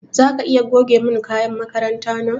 Zaka iya goge mun kayan makaranta na?